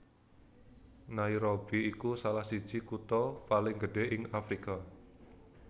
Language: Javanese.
Nairobi iku salah siji kutha paling gedhé ing Afrika